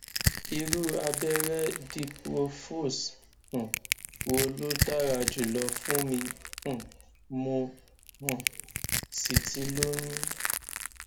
irú abẹrẹ diprofos um wo ló dára jùlọ fún mi um mo um sì ti lóyún